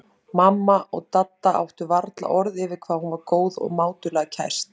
Mamma og Dadda áttu varla orð yfir hvað hún væri góð og mátulega kæst.